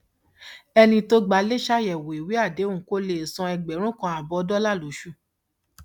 ẹni tó gba ilé ṣàyẹwò ìwé àdéhùn kó lè san ẹgbẹrún kan ààbọ dọlà lóṣooṣù